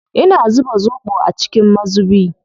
Ina zuba zoɓo a cikin mazubi.